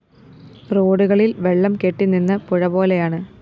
റോഡുകളില്‍ വെള്ളം കെട്ടിനിന്ന് പുഴപോലെയാണ്